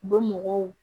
U bɛ mɔgɔw